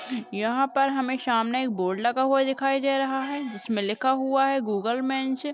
यहाँ पर हमें सामने एक बोर्ड लगा हुआ दिखाई दे रहा है जिसमें लिखा हुआ है गूगल मेंस --